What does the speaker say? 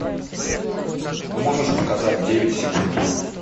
можешь показать девять секунд